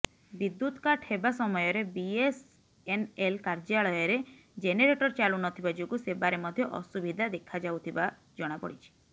ବିଦ୍ୟୁତକାଟ ହେବା ସମୟରେ ବିଏସଏନଏଲ କାର୍ଯ୍ୟାଳୟରେ ଜେନେରଟର ଚାଲୁନଥିବା ଯୋଗୁଁ ସେବାରେ ମଧ୍ୟ ଅସୁବିଧା ଦେଖାଯାଉଥିବା ଜଣାପଡିଛି